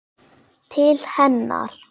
Til hennar.